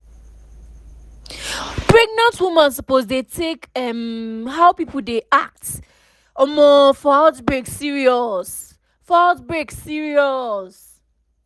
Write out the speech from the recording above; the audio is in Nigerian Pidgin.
pregnant woman suppose dey think um how people dey act omo for outbreak serious outbreak serious